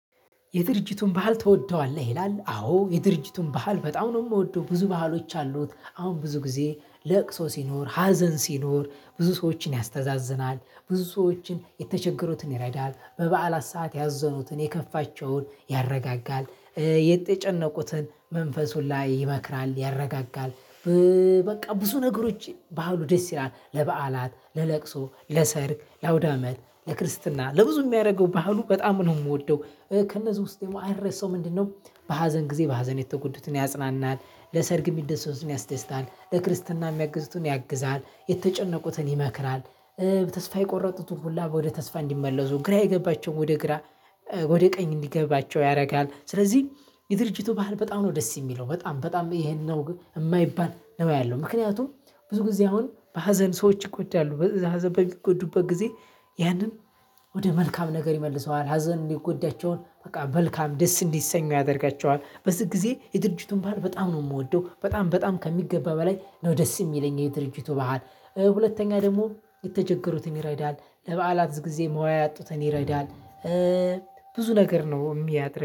የድርጅቱን ባህል ትወደዋለህ ይላል? አዎ የድርጅቱን ባህል በጣም ነው የምወደው ብዙ ባህሎች አሉት አሁን ብዙ ጊዜ ለቅሶ ሲኖር ሀዘን ሲኖር ብዙ ሰዎችን ያስተዛዝናል ብዙ ሰዎችን የተቸገሩትን ይረዳል በበዓላት ሰዓት ያዘኑትን የከፋቸውን ያረጋጋል የተጨነቁትን መንፈሱን ላይ ይመክራል ያረጋጋል። በቃ ብዙ ነገሮች ባህሉ ደስ ይላል ለበዓላት ለለቅሶ ለሰርግ ለአውዳመት ለክርስትና ለብዙ የሚያደርገው ባህሉ በጣም ነው የምወደው። ከነዚህ ውስጥ ደግሞ አይረሳውም ምንድነው? በሀዘን ጊዜ በሀዘን የተጎዱትን ያጽናናል ለሰርግ የሚደስቱን ያስደስታል ለክርስትና የሚያግዝቱን ያግዛል የተጨነቁትን ይመክራል። ተስፋ የቆረጡትን ሁላ ወደ ተስፋ እንዲመለሱ ግራ የገባቸውን ወደ ግራ ወደ ቀኝ እንዲገባቸው ያደርጋል። ስለዚህ የድርጅቱ ባህል በጣም ነው ደስ የሚለው በጣም በጣም ይሄን ነው የማይባል ነው ያለው። ምክንያቱም ብዙ ጊዜ አሁን በሀዘን ሰዎች ይጎዳሉ በሀዘን በሚጎዱበት ጊዜ ያንን ወደ መልካም ነገር ይመልሰዋል ሀዘን የጎዳቸውን በቃ መልካም ደስ እንዲሰኙ ያደርጋቸዋል። በዚህ ጊዜ የድርጅቱን ባህል በጣም ነው የምወደው በጣም በጣም ከሚገባ በላይ ነው ደስ የሚለኝ የድርጅቱ ባህል። ሁለተኛ ደግሞ የተቸገሩትን ይረዳል ለበዓላት ብዙ ጊዜ መዋያ ያጡትን ይረዳል። ብዙ ነገር ነው የሚያደርገው